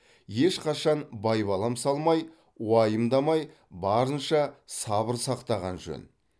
ешқашан байбалам салмай уайымдамай барынша сабыр сақтаған жөн